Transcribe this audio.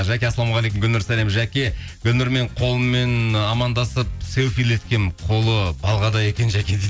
жәке ассалаумағалейкум гүлнұр сәлем жәке гүлнұрмен қолыммен амандасып селфилеткенмін қолы балғадай екен жәке дейді